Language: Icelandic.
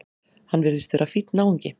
Hann virðist vera fínn náungi!